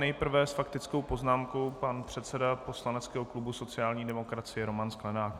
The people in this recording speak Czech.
Nejprve s faktickou poznámkou pan předseda poslaneckého klubu sociální demokracie Roman Sklenák.